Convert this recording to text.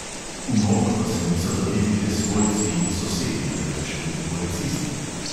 V molk pa se niso zavili le svojci in sosedi, temveč tudi policisti.